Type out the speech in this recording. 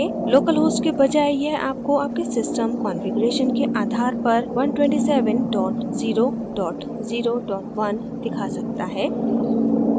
localhost के बजाय यह आपको आपके system configuration के आधार पर 127001 दिखा सकता है